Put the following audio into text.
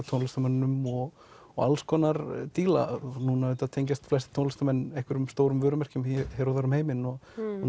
tónlistarmönnunum og og alls konar díla núna auðvitað tengjast flestir tónlistarmenn einhverjum stórum vörumerkjum hér og þar um heiminn og